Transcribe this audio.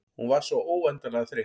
Hún var svo óendanlega þreytt.